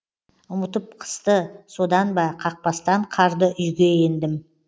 ұмытып қысты содан ба қақпастан қарды үйге ендім